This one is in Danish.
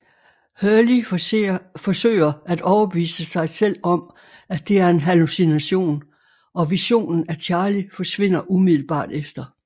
Hurley forsøger at overbevise sig selv om at det er en hallucination og visionen af Charlie forsvinder umiddelbart efter